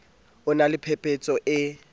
o na le phepetso e